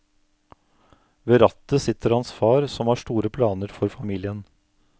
Ved rattet sitter hans far, som har store planer for familien.